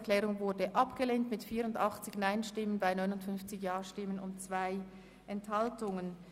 Sie haben diese Planungserklärung abgelehnt.